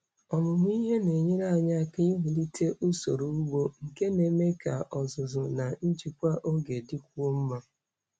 Ọmụmụ ihe na-enyere anyị aka iwulite usoro ugbo nke na-eme ka ọzụzụ na njikwa oge dịkwuo mma.